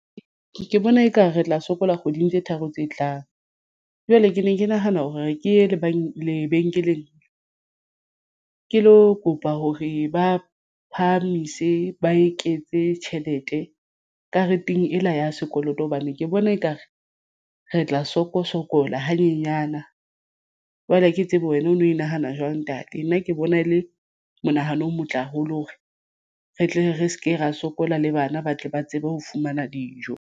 Ke bona ekare re tla sokola kgweding tse tharo tse tlang. Jwale ke ne ke nahana hore ke ye lebenkeleng ke lo kopa hore ba phahamise ba eketse tjhelete kareteng ela ya sekoloto hobane ke bona ekare re tla soko-sokola hanyenyana. Jwale ha ke tsebe wena ono nahana jwang ntate nna ke bona e le monahano o motle haholo hore re tle re se ke ra sokola le bana ba tle ba tsebe ho fumana dijo.